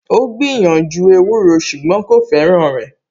Ó gbìyànjú ewúro ṣùgbọ́n kò fẹ́ràn rẹ̀